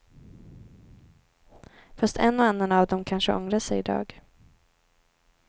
Fast en och annan av dem kanske ångrar sig i dag.